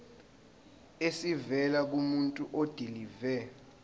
esivela kumuntu odilive